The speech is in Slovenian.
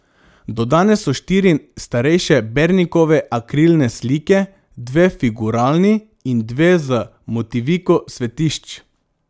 Dodane so štiri starejše Bernikove akrilne slike, dve figuralni in dve z motiviko svetišč.